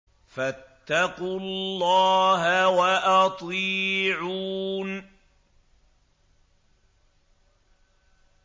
فَاتَّقُوا اللَّهَ وَأَطِيعُونِ